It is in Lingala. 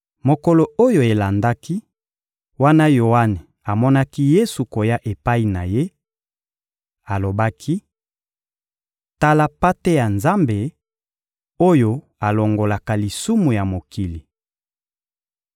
Mokolo oyo elandaki, wana Yoane amonaki Yesu koya epai na ye, alobaki: — Tala Mpate ya Nzambe, oyo alongolaka lisumu ya mokili.